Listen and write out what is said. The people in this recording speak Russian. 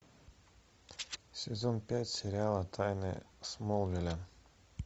сезон пять сериала тайны смолвиля